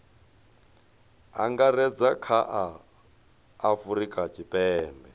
angaredza kha a afurika tshipembe